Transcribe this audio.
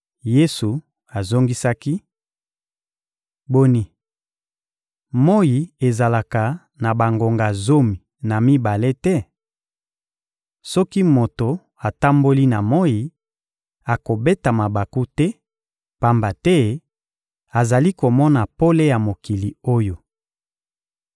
Yesu azongisaki: — Boni, moyi ezalaka na bangonga zomi na mibale te? Soki moto atamboli na moyi, akobeta mabaku te, pamba te azali komona pole ya mokili oyo.